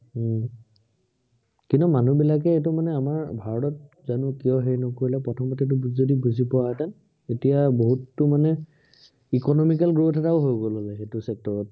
উম কিন্তু মানুহবিলাকে এইটো মানে আমাৰ ভাৰতত জানো কিয় হেৰি নকৰিলে, প্ৰথমতেটো যদি বুজি পোৱাহেঁতেন, তেতিয়া বহুতো মানে economical growth এটাও হৈ গল হলে সেইটো sector ত